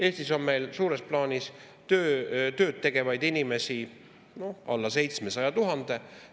Eestis on meil suures plaanis tööd tegevaid inimesi alla 700 000.